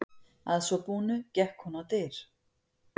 Að svo búnu gekk hún á dyr.